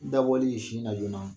Dabɔli sin na joona